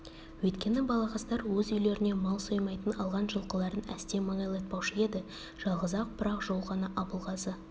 өйткені балағаздар өз үйлеріне мал соймайтын алған жылқыларын әсте маңайлатпаушы еді жалғыз-ақ бір-ақ жол ғана абылғазы